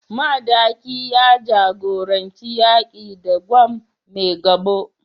Madaki ya jagoranci yaki da Gwan Maigabo